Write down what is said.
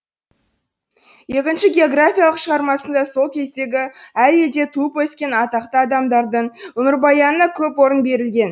екінші географиялық шығармасында сол кездегі әр елде туып өскен атақты адамдардың өмірбаянына көп орын берілген